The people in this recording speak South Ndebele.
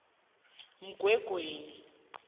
umgwengweni